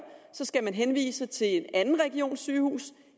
så skal regionen henvise til en anden regions sygehus